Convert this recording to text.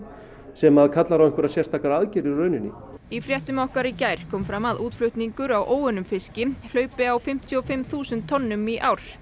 sem kallar á einhverjar sérstakar aðgerðir í rauninni í fréttum okkar í gær kom fram að útflutningur á óunnum fiski hleypur á fimmtíu og fimm þúsund tonnum í ár